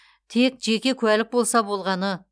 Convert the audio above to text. тек жеке куәлік болса болғаны